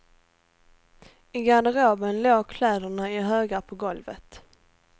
I garderoben låg kläderna i högar på golvet.